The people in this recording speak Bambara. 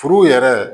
Furu yɛrɛ